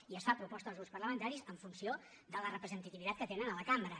i es fa a proposta dels grups parlamentaris en funció de la representativitat que tenen a la cambra